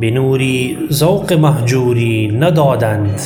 به نوری ذوق مهجوری ندادند